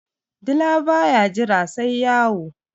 dila ba ya Jira sai wayo